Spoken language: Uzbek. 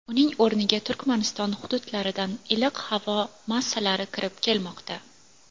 Uning o‘rniga Turkmaniston hududlaridan iliq havo massalari kirib kelmoqda.